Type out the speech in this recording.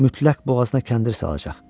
Mütləq boğazına kəndir salacaq.